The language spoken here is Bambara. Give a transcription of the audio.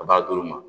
A b'a d'u ma